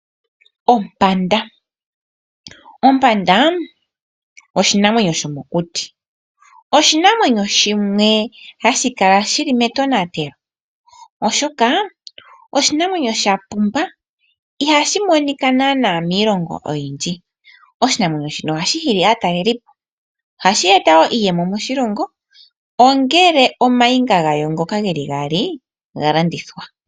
Ompanda oshinamwenyo shomokuti shoka hashi kala mokuti noshili sha pumba oshoka ihashi monika naana miilongo oyindji. Ohashi nana aatalelipo uuna omainga gawo ngoka geli gaali ga landithwa.